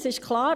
Das ist klar.